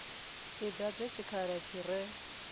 i dadze tshikhala tshi re